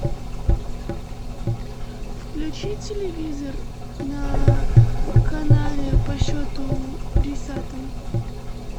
включи телевизор на канале по счету десятом